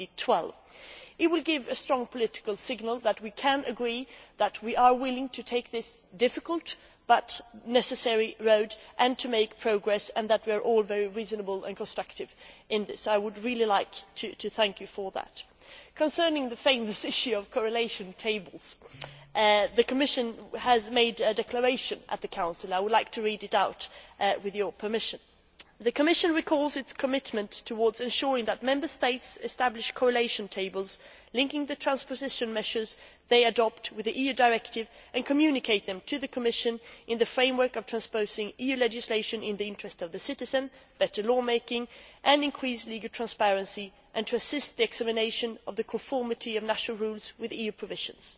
2012. It will give a strong political signal that we can agree, that we are willing to go down this difficult but necessary road and make progress, and that we can act reasonably and constructively on this. I would really like to thank you for that. Concerning the much talked about issue of correlation tables, the Commission made a declaration to the Council. I would like to read it out, with your permission The Commission recalls its commitment towards ensuring that Member States establish correlation tables linking the transposition measures they adopt with the EU directive and communicate them to the Commission in the framework of transposing EU legislation, in the interest of citizens, better law making and increasing legal transparency and to assist the examination of the conformity of national rules with EU provisions.